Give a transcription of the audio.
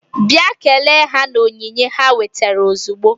Bịa kelee ha na onyinye ha wetara ozugbo!